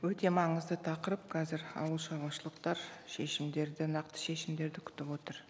өте маңызды тақырып қазір ауыл шаруашылықтар шешімдерді нақты шешімдерді күтіп отыр